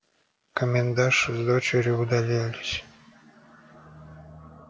комендантша с дочерью удалились